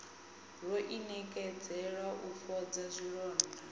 ro inekedzela u fhodza zwilonda